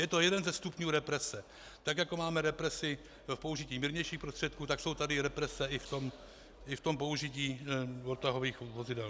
Je to jeden ze stupňů represe, tak jako máme represi v použití mírnějších prostředků, tak jsou tady represe i v tom použití odtahových vozidel.